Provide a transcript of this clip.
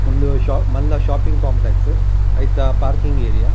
ಉಂದು ಶಾಪ್ ಮಲ್ಲ shopping complex ಐತ ಪಾರ್ಕಿಂಗ್ ಏರಿಯ .